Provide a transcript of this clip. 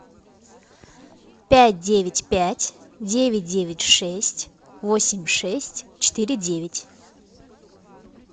пять девять пять девять девять шесть восемь шесть четыре девять